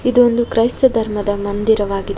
ಇದು ಒಂದು ಕ್ರೈಸ್ತ ಧರ್ಮದ ಮಂದಿರವಾಗಿದೆ.